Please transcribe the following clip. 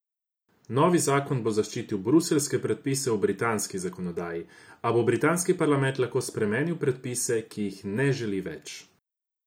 Novi zakon bo zaščitil bruseljske predpise v britanski zakonodaji, a bo britanski parlament lahko spremenil predpise, ki jih ne želi več.